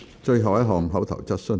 最後一項口頭質詢。